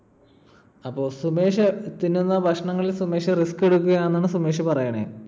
അപ്പൊ സുമേഷ് തിന്നുന്ന ഭക്ഷണങ്ങളിൽ സുമേഷ് risk എടുക്കുകയാണ് എന്നാണ് സുമേഷ് പറയണേ.